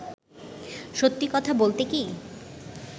সত্যি কথা বলতে কী